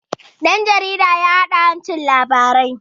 ɗan jarida ya haɗa ta duba inhancin labari